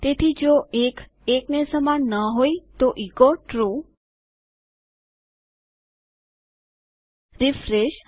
તેથી જો ૧ ૧ને સમાન ન હોય તો એચો ટ્રૂ રીફ્રેશ